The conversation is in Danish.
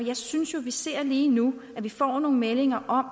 jeg synes jo at vi lige nu får nogle meldinger om